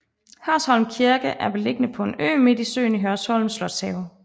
Hørsholm Kirke er beliggende på en ø midt i søen i Hørsholm Slotshave